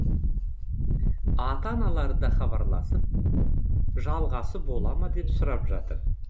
ата аналары да хабарласып жалғасы бола ма деп сұрап жатыр